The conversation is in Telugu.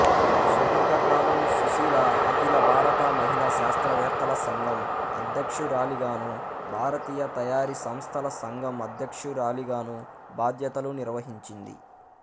సుదీర్ఘకాలం సుశీల అఖిలభారత మహిళా శాస్త్రవేత్తల సంఘం అధ్యక్షురాలిగానూ భారతీయ తయారీ సంస్థల సంఘం అధ్యక్షురాలిగానూ బాధ్యతలు నిర్వహించింది